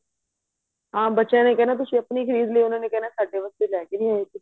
ਹਾਂ ਬੱਚਿਆ ਨੇ ਕਹਿਣਾ ਤੁਸੀਂ ਆਪਣੀ ਖਰੀਦ ਲੋ ਉਹਨਾਂ ਨੇ ਕਹਿਣਾ ਸਾਡੇ ਵਾਸਤੇ ਲੈ ਕੇ ਨਹੀਂ ਆਏ ਕੁੱਛ